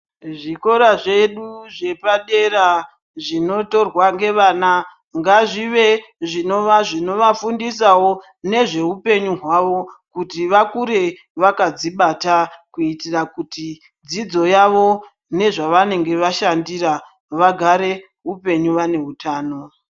Zvikora zvedu zvepadera zvinotorwa ngevana ngazvive zvonova zvinovafundisawo nezveupenyu hwavo kuti vakure vakadzibata kuitira kuti dzidzo yavo nezvanenge vashandira vagara upenyu vane utano .